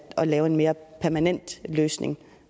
lave en mere permanent løsning